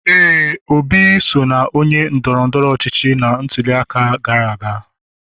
éè, Obi so na onye ndoro-ndoro ochichi na ntuli aka gara aga.